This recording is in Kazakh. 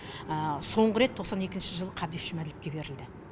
соңғы рет тоқсан екінші жылы қабдеш жұмаділовке берілді